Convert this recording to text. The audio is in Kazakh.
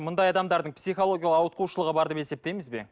мұндай адамдардың психологиялық ауытқушылығы бар деп есептейміз бе